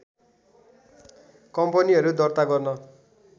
कम्पनीहरु दर्ता गर्न